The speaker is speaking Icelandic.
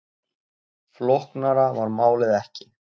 Flóknara var málið ekki